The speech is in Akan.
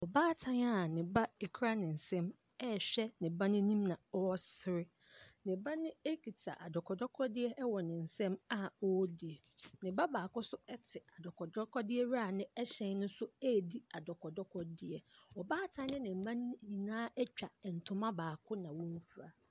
Baatan a ne ba kura ne nsam rehwɛ ne ba no anim na ɔresere. Ne ba no kita adɔkɔdɔkɔdeɛ wɔ ne nsam a ɔredi. Ne baako nso te adɔkɔdɔkɔdeɛ no wira no hyɛn no so redi adɔkɔdɔkɔdeɛ. Ɔbaatan ne ne mma no nyinaa atwa ntoma baako na wɔafura.